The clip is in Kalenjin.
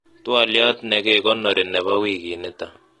twoliot nekekonori nebo wikit nito